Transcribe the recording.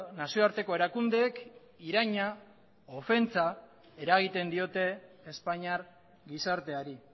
nazioarteko erakundeek iraina eta ofentsa eragiten diote espainiar gizarteari